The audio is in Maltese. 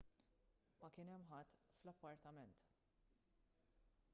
ma kien hemm ħadd fl-appartament